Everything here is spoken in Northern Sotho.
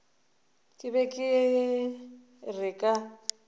ke be ke re ka